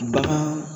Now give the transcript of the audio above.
Bagan